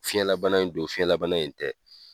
Fiyɛn labana in do fiyɛn labana in tɛ.